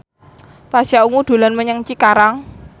Pasha Ungu dolan menyang Cikarang